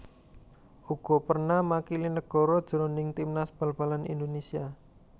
Uga perna makili negara jroning timnas bal balan Indonesia